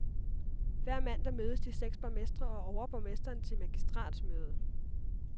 Hver mandag mødes de seks borgmestre og overborgmesteren til magistratsmøde.